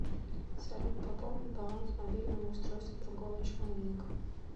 салют пополнить баланс мобильного устройства другого человека